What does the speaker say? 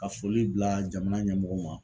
Ka foli bila jamana ɲɛmɔgɔw ma.